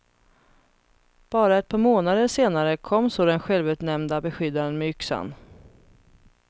Bara ett par månader senare kom så den självutnämnda beskyddaren med yxan.